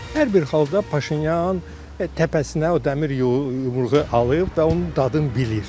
Hər bir halda Paşinyan təpəsinə o dəmir yumruğu alıb və onun dadını bilir.